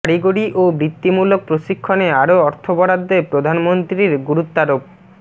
কারিগরি ও বৃত্তিমূলক প্রশিক্ষণে আরও অর্থ বরাদ্দে প্রধানমন্ত্রীর গুরুত্বারোপ